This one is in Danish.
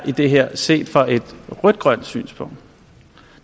i det her er set fra et rødt grønt synspunkt